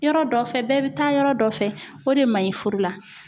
Yɔrɔ dɔ fɛ, bɛɛ bɛ taa yɔrɔ dɔ fɛ, o de man ɲi furu la.